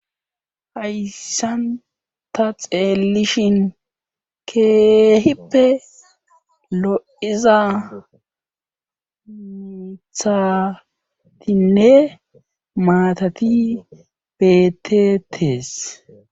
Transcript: Hayssan ta xeelishin keehippe lo'iza mithatinne maatati betetees